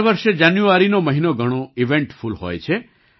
દર વર્ષે જાન્યુઆરીનો મહિનો ઘણો ઇવેન્ટફુલ હોય છે